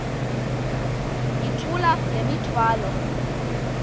yithula le mithwalo